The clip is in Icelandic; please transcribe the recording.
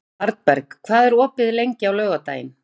Arnberg, hvað er opið lengi á laugardaginn?